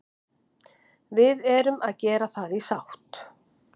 Við erum að gera það í sátt